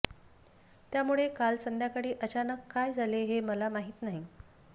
त्यामुळे काल संध्याकाळी अचानक काय झाले हे मला माहीत नाही